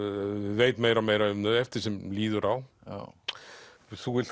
veit meira og meira um þau eftir því sem líður á þú vilt